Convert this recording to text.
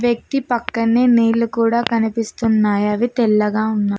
వ్యక్తి పక్కనే నీళ్లు కూడా కనిపిస్తున్నాయి అవి తెల్లగా వున్న--